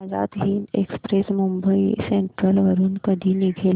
Azad Hind express Mumbai central वरून कधी निघेल